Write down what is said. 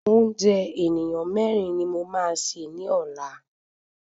Oúnjẹ ènìyàn mẹ́rin ni mo máa sè ni ọlá.